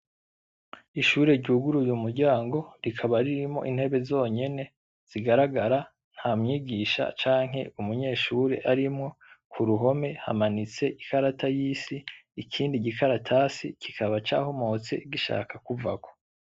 Ishure ryuguruye umuryango rikaba ririmwo intebe zonyene zigaragara, nta mwigisha canke umunyeshure arimwo, ku ruhome hamanitse ikarata y'isi, ikindi gikaratasi kikaba cahomotse gishaka kuvako.